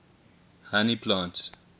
honey plants